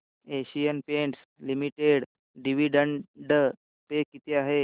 Asian Paints limited dividend pay किती आहे